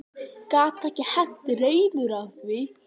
Gat ekki hent reiður á því.